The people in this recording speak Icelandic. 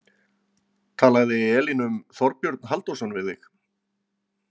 Talaði Elín um Þorbjörn Halldórsson við þig?